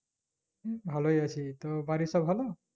ভালোই আছি, তোর বাড়ির সব ভালো?